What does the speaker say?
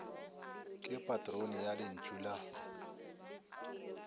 ke patrone ya lentšu la